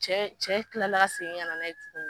Cɛ tilala ka segin ka na n'a ye tugun.